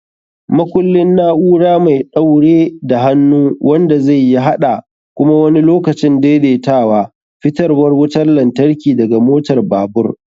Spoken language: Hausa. Makullin: na'ura mai ɗaure da hannu wanda zai iya haɗa (kuma wani lokacin daidaitawa) fitarwar wutar lantarki daga motar babur.